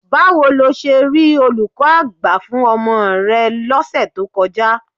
Báwo lo ṣe rí olùkọ́ gbà fún ọmọ rẹ lọ́sẹ̀ tó kọjá?